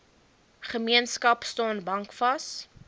gemeenskap staan bankvas